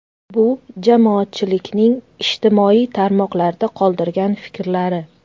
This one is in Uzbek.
Bu jamoatchilikning ijtimoiy tarmoqlarda qoldirgan fikrlari.